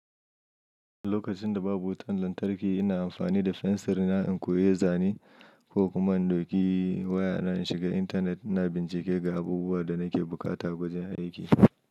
Lokacin da babu wutan lantarki, ina amfani da fensirna in koyi zane ko kuma in ɗauki waya na in shiga intanet ina bincike ga abubuwa da nake buƙata a gwajin aiki.